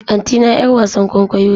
Antina 'yar wasan kwaikwayo ce.